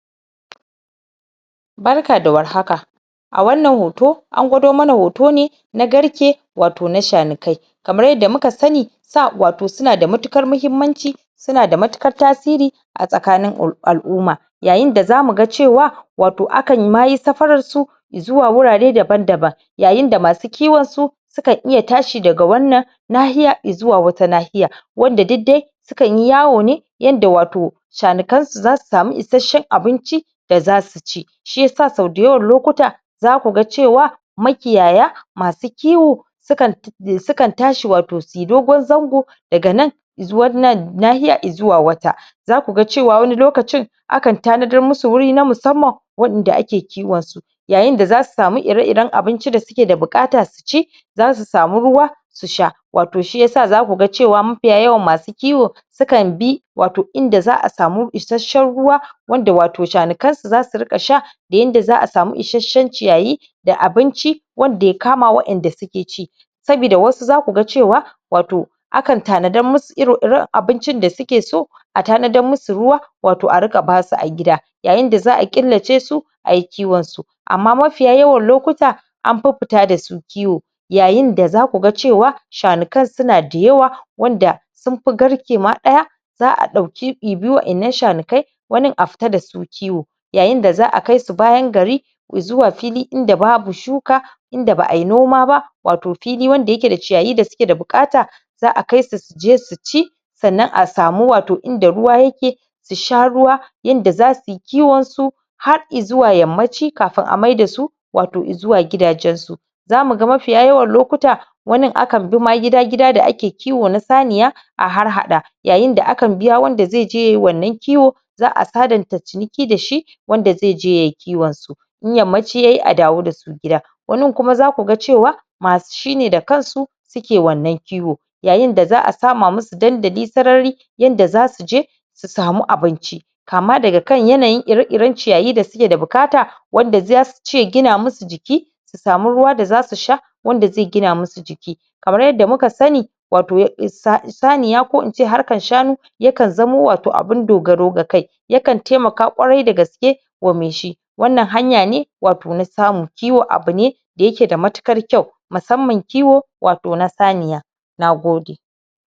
barka da war haka a wannan hoto an gwado mana hoto ne na garke wato na shanikai kamar yadda muka sani saa wato suna da matukar mahimmanci suna da matuƙar tasiri a tsakanin al'umma yayin da zamu ga cewa wato akan ma yi safaran su zuwa wurare daban daban yayin da masu kiwon su su kan iya tashi daga wannan lahiya zuwa wata lahiya wanda duk dai su kanyi yawo ne yanda wato shanikan su zasu samu isheshen abinci da zasu ci shiyasa sau dayawan lokuta zaku ga cewa makiyaya masu kiwo sukan tashi wato da dogon zango gaga nan zuwa nan nahiyan zuwa wata zaku ga cewa wani lokacin akan tanadar musu wuri na musamman wa'enda ake kiwon su yayin da zasu samu irer iren abinci da suke da bukata su ci zasu samu ruwa su sha wato shiyasa zaku ga cewa mafiya yawan masu kiwo su kan bi wato inda za'a samu isheshen ruwa wanda wato shanikan su zasu ringa sha da yanda za'a samu isheshen ciyayi da abinci wanda yakama wa'en da suke ci sabida wasu zaku ga cewa wato akan tanadar musu ire iren abinci da suke so a tanadar musu ruwa wato a ringa basu a gida yayin da za'a ƙillace su ayi kiwon su amma mafiya yawan lokuta an fi fita dasu kiwo yayin da zaku ga cewa shanikan suna dayawa wanda sun fin garke ma daya za'a dauki wa'ennan shanakai wanin a fita dasu kiwo yayin da za'a kaisu bayan gari zuwa fili inda babu shuka inda ba'ayi noma ba wato fili wanda yake da ciyayi wanda suke da bukata za'a kai su suje su ci sannan a samu wato inda ruwa yake su sha ruwa yanda zasuyi kiwon su zuwa yammaci kafun a maida su wato zuwa gidajen su zamuga mafiya yawan lokuta wanin akan bi ma gida gida da ake kiwo na saniya a harhaɗa yayin da akan biya zaije yayi wannan kiwo za'a sadanta cikin da shi wanda ze je yayi kiwon su in yammaci yayi a dawo dasu gida wanin kuma zaku ga cewa masu shine da kan su suke wannan kiwo yayin da za'a sama musu dandali yanda zasu je su samu abinci kama daga kan yanyin ire iren ciyayi da suke da bukata wanda zasu ci ya gina musu jiki su samu ruwa da zasu sha wanda ze gina musu jiki kamar yadda muka sani wato saniya ko in ce harkan shanu yakan zamo wato abun dogaro ga kai yakan taimaka ƙwarai dagaske wa mai shi wannan hanya ne na samu kiwo abune da yake da matuƙar kyau musamman kiwo wato na saniya nagode